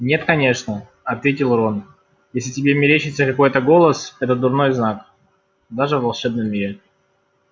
нет конечно ответил рон если тебе мерещится какой-то голос это дурной знак даже в волшебном мире